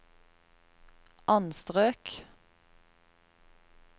anstrøk